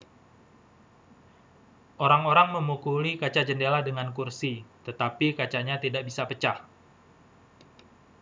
orang-orang memukuli kaca jendela dengan kursi tetapi kacanya tidak bisa pecah